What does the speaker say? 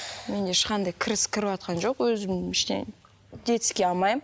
менде ешқандай кіріс кірватқан жоқ өзім ештеще детский алмаймын